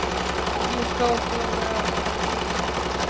Ég stóð hljóðlega á fætur og gekk út.